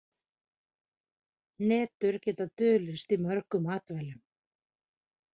Hnetur geta dulist í mörgum matvælum.